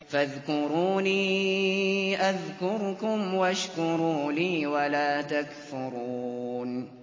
فَاذْكُرُونِي أَذْكُرْكُمْ وَاشْكُرُوا لِي وَلَا تَكْفُرُونِ